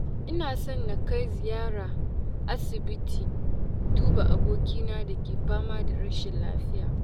Ina son na kai ziyara aisibiti duba abokina da ke fama da rashinlafiya.